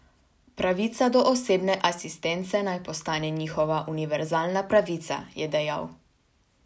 Pravica do osebne asistence naj postane njihova univerzalna pravica, je dejal.